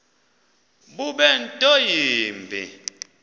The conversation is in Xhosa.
bube nto yimbi